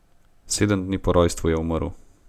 Sedem dni po rojstvu je umrl.